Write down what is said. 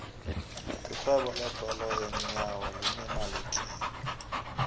irhwebo lebhola yeenyawo linemali tlhe